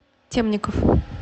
темников